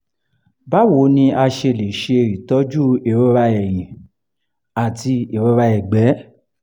báwo ni a ṣe lè se itoju irora eyin ati irora egbe?